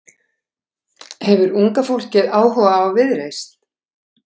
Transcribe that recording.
Hefur unga fólkið áhuga á Viðreisn?